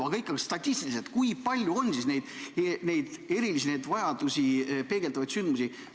Aga ikkagi statistiliselt – kui palju neid erilisi vajadusi peegeldavaid sündmusi on?